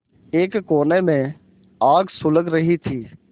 एक कोने में आग सुलग रही थी